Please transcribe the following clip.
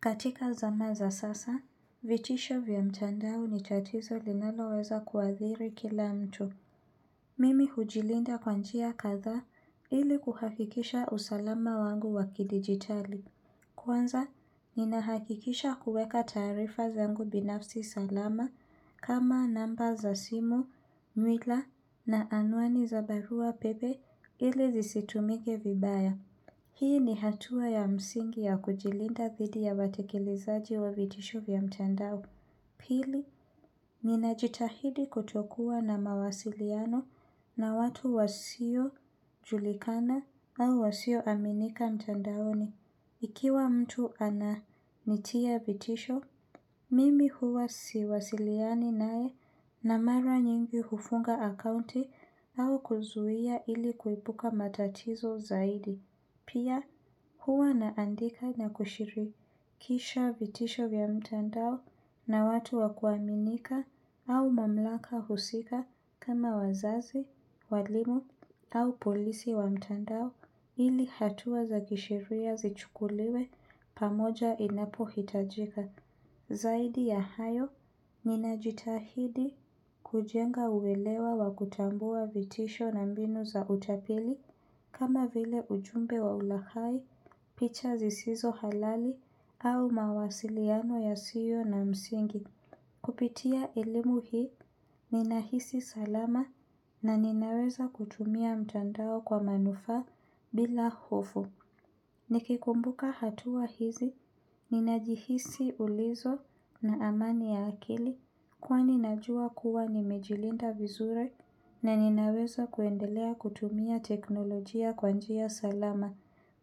Katika zana za sasa, vitisho vya mtandao ni tatizo linalo weza kuadhiri kila mtu. Mimi hujilinda kwa njia kadha ili kuhakikisha usalama wangu wakidigitali. Kwanza, ninahakikisha kuweka taarifa zangu binafsi salama kama namba za simu, nywila na anuani za barua pepe ili zisitumike vibaya. Hii ni hatua ya msingi ya kujilinda dhidi ya watekilizaji wa vitisho vya mtandao. Pili, ninajitahidi kutokua na mawasiliano na watu wasio julikana au wasioaminika mtandaoni. Ikiwa mtu ana nitia vitisho, mimi huwa siwasiliani nae na mara nyingi hufunga akaunti au kuzuia ili kuepuka matatizo zaidi. Pia huwa naandika na kushirikisha vitisho vya mtandao na watu wa kuaminika au mamlaka husika kama wazazi, walimu au polisi wa mtandao ili hatua za kisheria zichukuliwe pamoja inapohitajika. Zaidi ya hayo, ninajitahidi kujenga uelewa wa kutambua vitisho na mbinu za utapili kama vile ujumbe wa ulaghai, picha zisizo halali au mawasiliano yasiyo na msingi. Kupitia elimu hii, ninahisi salama na ninaweza kutumia mtandao kwa manufa bila hofu. Nikikumbuka hatua hizi, ninajihisi ulizo na amani ya akili kwani najua kuwa nimejilinda vizuri na ninaweza kuendelea kutumia teknolojia kwa njia salama.